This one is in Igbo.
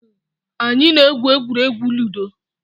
Anyị na-egwu egwuregwu ludo